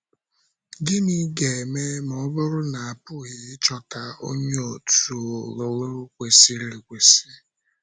Gịnị ga-eme ma ọ bụrụ na a pụghị ịchọta onye òtù ọlụlụ kwesịrị ekwesị?